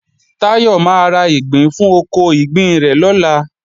Táyọ máa ra ìgbín fún oko ìgbín rẹ̀ lọ́la